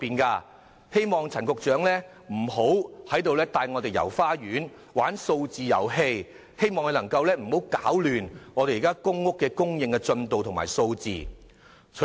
我希望陳局長不要帶議員"遊花園"和玩數字遊戲，也希望他不要攪亂公屋供應的進度和數字。